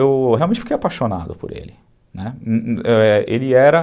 Eu realmente fiquei apaixonado por ele, né, ele era